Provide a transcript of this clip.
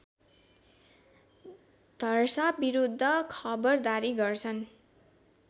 धर्साविरुद्ध खबरदारी गर्छन्